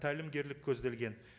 тәлімгерлік көзделген